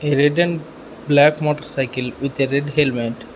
a red and black motorcycle with a red helmet.